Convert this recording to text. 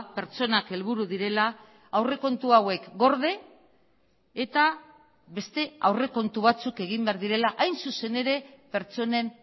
pertsonak helburu direla aurrekontu hauek gorde eta beste aurrekontu batzuk egin behar direla hain zuzen ere pertsonen